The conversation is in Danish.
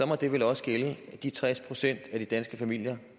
må det vel også gælde de tres procent af de danske familier